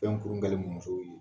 kurun dalen don musoww ye